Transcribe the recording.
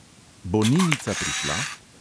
Bo ninica prišla?